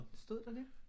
Stod der det?